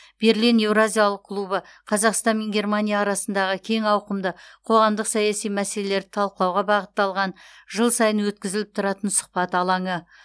берлин еуразиялық клубы қазақстан мен германия арасындағы кең ауқымды қоғамдық саяси мәселелерді талқылауға бағытталған жыл сайын өткізіліп тұратын сұхбат алаңы